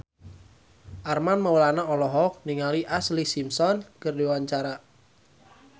Armand Maulana olohok ningali Ashlee Simpson keur diwawancara